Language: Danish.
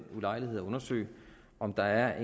ulejlighed at undersøge om der er